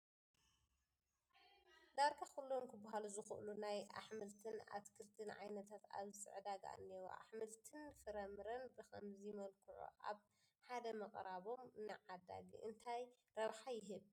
ዳርጋ ኩሎም ክበሃሉ ዝኽእሉ ናይ ኣሕምልትን ኣትክልትን ዓይነታት ኣብዚ ዕዳጋ እኔዉ፡፡ ኣሕምልትን ፍረምረን ብኸምዚ መልክዑ ኣብ ሓደ ምቕራቦም ንዓዳጊ እንታይ ረብሓ ይህብ?